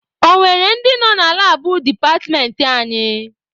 Ọ nwere ndị nọ na labụ departmentị anyị?